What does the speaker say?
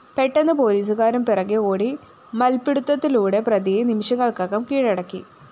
പെട്ടെന്ന് പോലീസുകാരും പിറകേ ഓടി മല്‍പ്പിടുത്തത്തിലൂടെ പ്രതിയെ നിമിഷങ്ങള്‍ക്കകം കീഴടക്കി